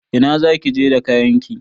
Ina zaki je da kayanki?